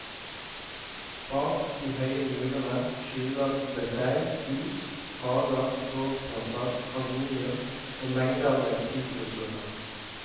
Bak de høye murene skjuler det seg hus, hager, gårdsplasser, avenyer og mengder med sitruslunder.